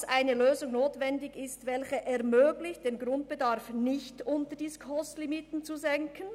] dass eine Lösung notwendig ist, welche es ermöglicht, den Grundbedarf nicht unter die SKOS-Limiten zu senken».